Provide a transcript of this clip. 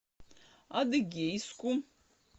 адыгейску